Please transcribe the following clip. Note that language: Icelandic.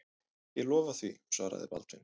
Ég lofa því, svaraði Baldvin.